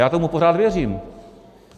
Já tomu pořád věřím.